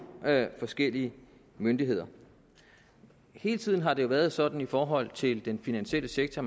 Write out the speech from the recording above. forskellige myndigheder hele tiden har det jo været sådan i forhold til den finansielle sektor